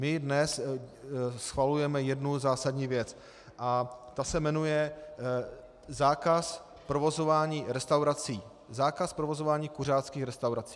My dnes schvalujeme jednu zásadní věc a ta se jmenuje zákaz provozování restaurací, zákaz provozování kuřáckých restaurací.